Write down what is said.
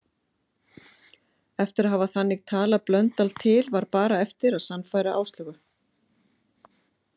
Eftir að hafa þannig talað Blöndal til var bara eftir að sannfæra Áslaugu.